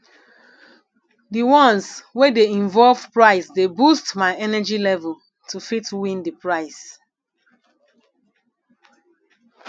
di ones wey de involve price de boost my energy level to fit win di price